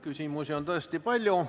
Küsimusi on tõesti palju.